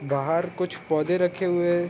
बहार कुछ पौधे रखे हुए है।